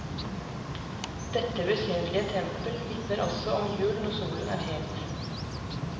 Dette besynderlige tempel vitner også om jul når solen er het.